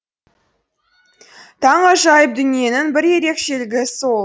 таңғажайып дүниенің бір ерекшелігі сол